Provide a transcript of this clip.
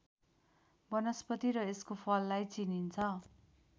वनस्पति र यसको फललाई चिनिन्छ